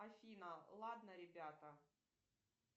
афина ладно ребята